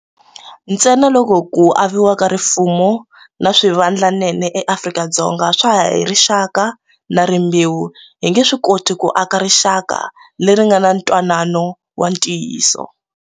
Ntsena loko ku aviwa ka rifumo na swivandlanene eAfrika-Dzonga swa ha ya hi rixaka na rimbewu, hi nge swi koti ku aka rixaka leri nga na ntwanano wa ntiyiso.